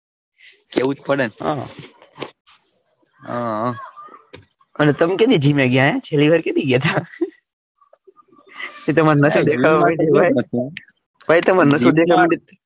કેવું જ પડે ને હ હમ અને તમે ક્યારે જિમ એ ગયા છેલ્લી વાર ક્યારે ગયા તા તમાર નસો દેખાવા ભાઈ તમારી નસો દેખાવા મંડી,